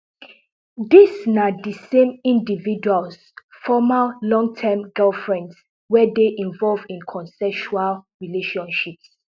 dis na di same individuals former longterm girlfriends wey dey involved in consensual relationships